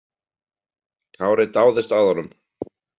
Kári dáðist að honum.